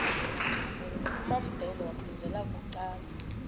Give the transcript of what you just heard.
kumambhele wambizela bucala